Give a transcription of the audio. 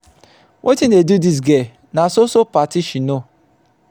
wetin dey do dis girl na so so party she know.